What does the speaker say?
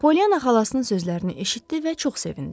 Poliyana xalasının sözlərini eşitdi və çox sevindi.